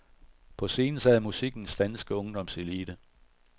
På scenen sad musikkens danske ungdomselite.